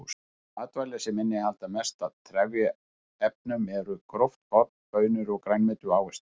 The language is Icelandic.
Þau matvæli sem innihalda mest af trefjaefnum eru gróft korn, baunir, grænmeti og ávextir.